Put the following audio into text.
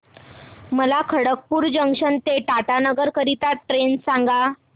मला खडगपुर जंक्शन ते टाटानगर करीता ट्रेन सांगा